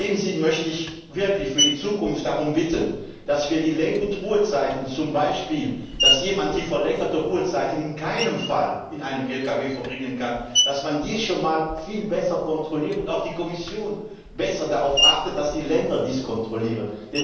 In diesem Sinne möchte ich wirklich für die Zukunft darum bitten, dass die Lenk und Ruhezeiten zum Beispiel dass jemand die verlängerten Ruhezeiten in keinem Fall in einem Lkw verbringen kann schon mal viel besser kontrolliert werden und auch die Kommission besser darauf achtet, dass die Länder dies kontrollieren.